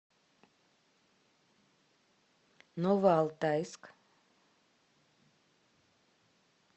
новоалтайск